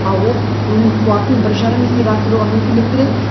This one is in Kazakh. ал ол өнім қуатын бір жарым есеге арттыруға мүмкіндік береді